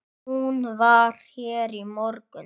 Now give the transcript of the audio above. Hún var hér í morgun.